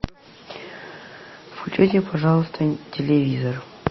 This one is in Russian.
включи пожалуйста телевизор